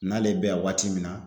N'ale bɛ yan waati min na